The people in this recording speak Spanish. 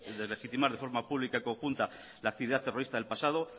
deslegitimar de forma pública conjunta la actividad terrorista del pasado